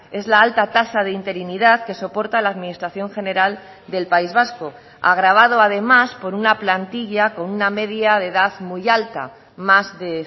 es la alta tasa de interinidad que soporta la administración general del país vasco agravado además por una plantilla con una media de edad muy alta más de